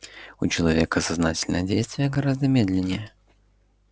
у человека сознательное действие гораздо медленнее